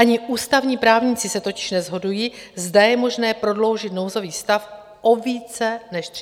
Ani ústavní právníci se totiž neshodují, zda je možné prodloužit nouzový stav o více než 30 dnů.